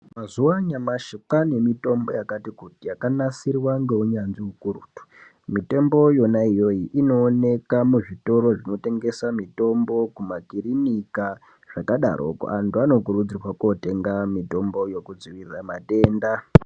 Mazuva anyamashi kwaane mitombo yakati kuti yakanasirwa ngeunyanzvi ikurutu. Mitombo iyona iyoyo inooneka muzvitoro zvinotengesa mitombo kumakirinika, kwakadarokwo antu anokurudzirwa kotenge mitombo yekudziirira matenda.